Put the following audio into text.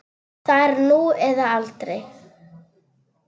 Það er nú eða aldrei.